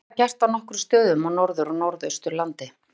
Var þetta gert á nokkrum stöðum á Norður- og Norðausturlandi.